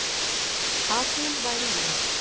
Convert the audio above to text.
Að hún væri ég.